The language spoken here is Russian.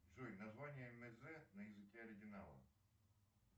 джой название мз на языке оригинала